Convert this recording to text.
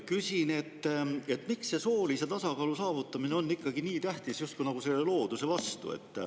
Küsin, miks see soolise tasakaalu saavutamine on ikkagi nii tähtis ja justkui looduse vastu.